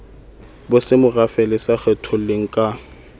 bosemorafe le sa kgetholleng ka